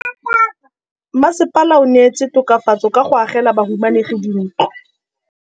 Mmasepala o neetse tokafatsô ka go agela bahumanegi dintlo.